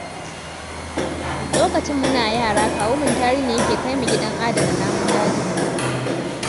Lokacin muna yara, kawu Mutari ne yake kai mu gidan adana namun daji.